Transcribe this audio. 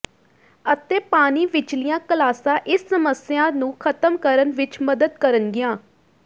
ਅਤੇ ਪਾਣੀ ਵਿਚਲੀਆਂ ਕਲਾਸਾਂ ਇਸ ਸਮੱਸਿਆ ਨੂੰ ਖ਼ਤਮ ਕਰਨ ਵਿਚ ਮਦਦ ਕਰਨਗੀਆਂ